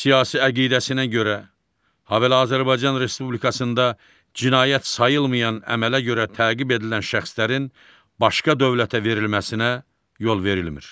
Siyasi əqidəsinə görə, habelə Azərbaycan Respublikasında cinayət sayılmayan əmələ görə təqib edilən şəxslərin başqa dövlətə verilməsinə yol verilmir.